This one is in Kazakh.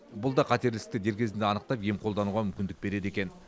бұл да қатерлі ісікті дер кезінде анықтап ем қолдануға мүмкіндік береді екен